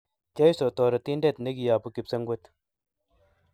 Jesu Toretindet ne kiyabu kipsengwet